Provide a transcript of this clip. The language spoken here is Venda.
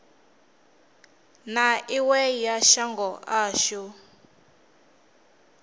na iwe ya shango ashu